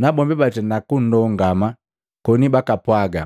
nabombi batenda kunndongama koni bakapwaga,